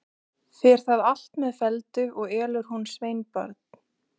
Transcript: Fer það allt með felldu, og elur hún sveinbarn.